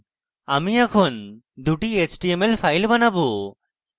আমরা এখন দুটি html files বানাবো